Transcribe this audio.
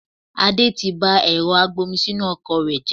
Adé tí bá ẹ̀rọ agbomisinu ọkọ̀ rẹ jẹ